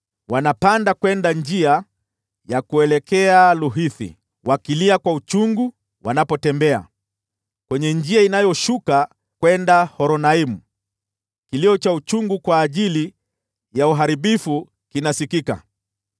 Wanapanda kwenda njia ya kuelekea Luhithi, wakilia kwa uchungu wanapotembea, kwenye njia inayoshuka kwenda Horonaimu, kilio cha uchungu kwa ajili ya uharibifu kinasikika.